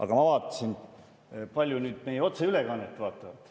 Aga ma vaatasin, kui paljud meie otseülekannet vaatavad.